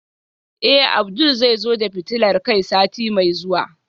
Eh Abdul zai zo da fitilar kai sati mai zuwa